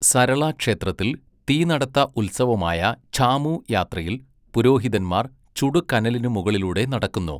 സരള ക്ഷേത്രത്തിൽ, തീനടത്ത ഉത്സവമായ ഝാമു യാത്രയിൽ പുരോഹിതന്മാർ ചുടു കനലിനു മുകളിലൂടെ നടക്കുന്നു.